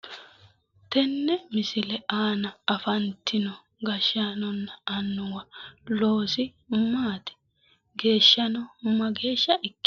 Tenne misile aana afantino gashshaanunna annuwa loosi maati? Geeshshano mageeshsha ikkitanno?